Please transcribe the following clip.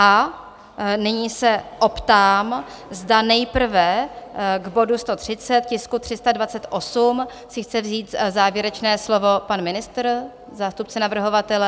A nyní se optám, zda nejprve k bodu 130, tisku 328, si chce vzít závěrečné slovo pan ministr, zástupce navrhovatele?